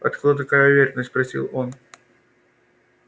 откуда такая уверенность спросил он